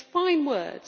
So it is fine words.